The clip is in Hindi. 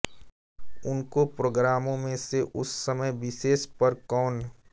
अनेकों प्रोग्रामों में से उस समय विशेष पर कौन